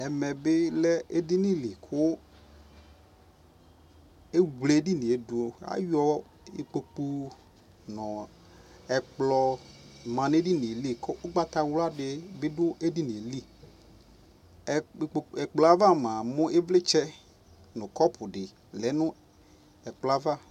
Ɛmɛ bi lɛ ɛdini li ku ɛwle ɛdini yɛ duAyɔ ikpoku nɔ ɛkplɔ ma nɛ dini yɛ liUgbata wla di bi du ɛdini yɛ liƐkplɔ ava mua mu nu kɔpu di lɛ nu ɛkplɔ yɛ ava